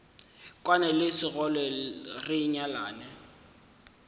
kwane le sekgole re nyalane